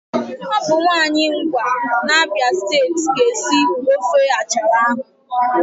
Ọ bụ nwaanyị Ngwa n'Abịa steeti ga-esi ofe achara ahụ